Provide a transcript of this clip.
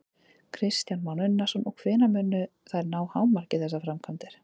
Kristján Már Unnarsson: Og hvenær munu þær ná hámarki, þessar framkvæmdir?